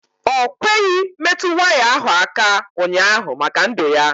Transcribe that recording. Ọ kweghị metụ waya ahụ aka ụnyaahụ maka ndụ ya.